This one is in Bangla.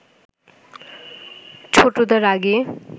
ছোটদা রাগে